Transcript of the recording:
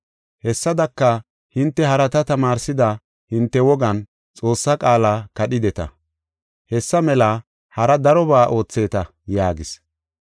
Hessadaka, hinte harata tamaarsida hinte wogan Xoossaa qaala kadhideta. Hessa mela hara darobaa ootheeta” yaagis.